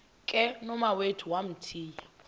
ke nomawethu wamthiya